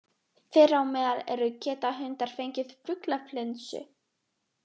Þeirra á meðal eru: Geta hundar fengið fuglaflensu?